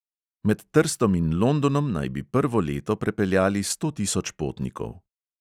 Med trstom in londonom naj bi prvo leto prepeljali sto tisoč potnikov.